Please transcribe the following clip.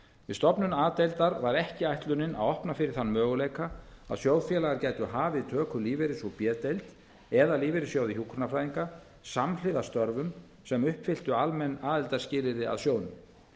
stofnun a deildar var ekki ætlunin að opna fyrir þann möguleika að sjóðfélagar gætu hafið töku lífeyris úr b deild eða lífeyrissjóði hjúkrunarfræðinga samhliða störfum sem uppfylltu almenn aðildarskilyrði að sjóðnum